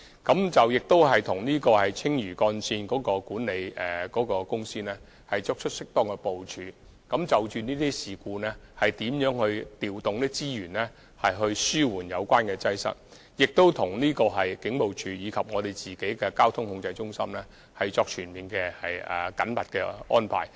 我們亦與青嶼幹線的管理公司，作出適當的部署，在發生這類事故時，調動資源來紓緩擠塞情況，並與警務處及運輸署的交通控制中心，作出全面及緊密的安排。